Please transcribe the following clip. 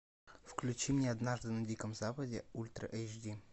включи мне однажды на диком западе ультра эйч ди